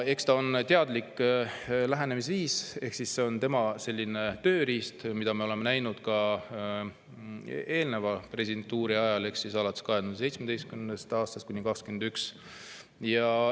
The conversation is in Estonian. Eks see on teadlik lähenemisviis ehk siis tema tööriist, mida me oleme näinud ka ta eelneva presidentuuri ajal, aastatel 2017–2021.